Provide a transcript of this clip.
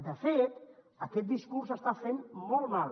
de fet aquest dis·curs està fent molt mal